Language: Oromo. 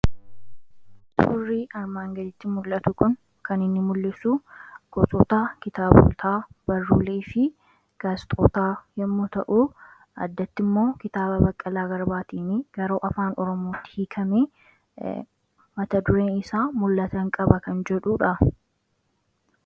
Suurrii armaan gadiitti mul'atu kun kan inni mul'isu gosotaa kitaabotaa barruulee fi gaazexootaa yommuu ta'uu addatti immoo kitaaba baqqalaa garbaatiin garuu afaan oromootti hiikamee mata dureen isaa mul'atan qaba kan jedhuudha